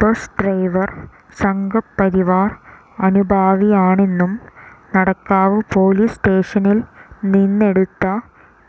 bus driver Sangh Parivar അനുഭാവിയാണെന്നും Nadakkavu police സ്റ്റേഷനിൽ നിന്നെടുത്ത